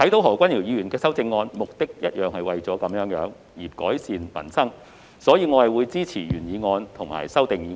何君堯議員的修正案，同樣是為了改善民生這個目的，所以我會支持原議案及修正案。